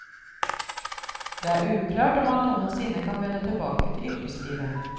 Det er uklart om han noensinne kan vende tilbake til yrkeslivet.